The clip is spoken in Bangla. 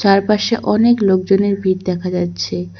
চারপাশে অনেক লোকজনের ভিড় দেখা যাচ্ছে।